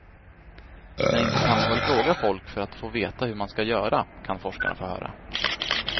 Men inte kan man väl fråga folk för att få veta hur man ska göra, kan forskarna få höra.